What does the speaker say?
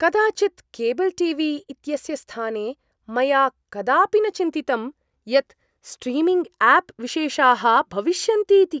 कदाचित् cable T V इत्यस्य स्थाने मया कदापि न चिन्तितम् यत् स्ट्रीमिङ्ग् आप् विशेषाः भविष्यन्तीति।